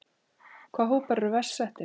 Hvaða hópar eru verst settir?